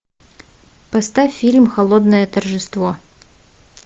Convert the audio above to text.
поставь фильм холодное торжество